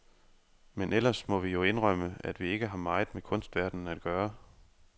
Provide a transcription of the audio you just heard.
Men ellers må vi jo indrømme, at vi ikke har meget med kunstverdenen at gøre.